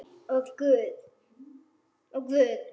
Og Guð.